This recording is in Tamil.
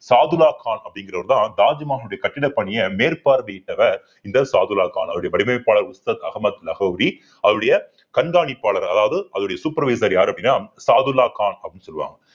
சாதுல்லா கான் அப்படிங்கிறவர்தான் தாஜ்மஹால் உடைய கட்டிடப் பணியை மேற்பார்வையிட்டவர் இந்த சாதுல்லா கான் அவருடைய வடிவமைப்பாளர் உஸ்தாத் அமகது லகோரிஅவருடைய கண்காணிப்பாளர் அதாவது அவருடைய supervisor யாரு அப்படின்னா சாதுல்லா கான் அப்படின்னு சொல்லுவாங்க